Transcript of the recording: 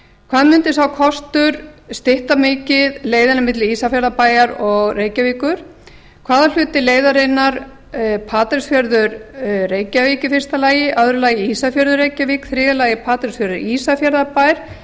hvað mundi sá kostur stytta mikið leiðina milli ísafjarðarbæjar og reykjavíkur hvaða hluti leiðarinnar patreksfjörður reykjavík í þriðja lagi patreksfjörður ísafjarðarbær